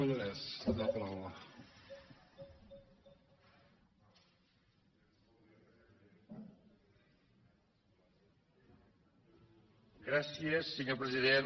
gràcies senyor president